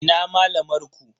Ina malamar ku?